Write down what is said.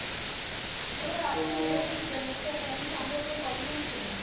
তাহলে আপনি নেস্টে ছিলেন নেস্ট এ আপনি শঙ্করপুরে কত দিন ছিলেন?